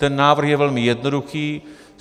Ten návrh je velmi jednoduchý.